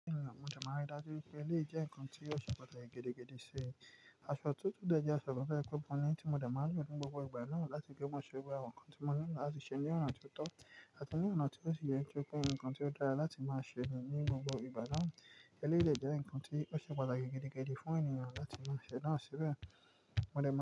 Mo máa rí dájú pé eléè jẹ́ nǹkan tí ó ṣe pàtàkì gidi gidi si Aṣọ tuntun de jẹ aṣọ kan toje pe moni ni tí mo de máa ń lò ní gbogbo ìgbà náà láti gbé ọmọ sì orí àwọn nǹkan tí mo ní láti ṣe ní ọ̀nà tó tọ́ àti ní ọ̀nà tí ó ṣe yé ṣe pé nǹkan tí ó dára láti máa ṣe ní gbogbo ìgbà náà. Eleyi de jẹ́ nǹkan tí ó ṣe pàtàkì gigi gigi fún ènìyàn láti máa ṣẹ̀dá àsìrí rẹ̀